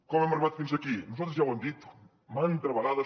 com hem arribat fins aquí nosaltres ja ho hem dit mantes vegades